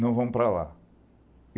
Nao vamos para lá.